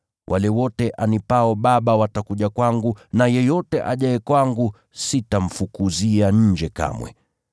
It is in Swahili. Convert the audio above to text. Wale wote anipao Baba watakuja kwangu na yeyote ajaye kwangu, sitamfukuzia nje kamwe.